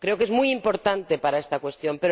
Creo que es muy importante para esta cuestión.